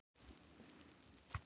Þau eru hvort sem er á leið á ball.